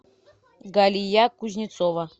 галия кузнецова